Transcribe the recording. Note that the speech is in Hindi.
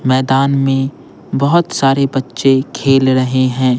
मैदान में बहुत सारे बच्चे खेल रहे हैं।